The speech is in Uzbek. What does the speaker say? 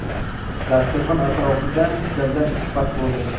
Dasturxon atrofida dildan suhbat bo‘ldi.